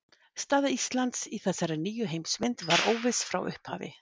Staða Íslands í þessari nýju heimsmynd var óviss frá upphafi.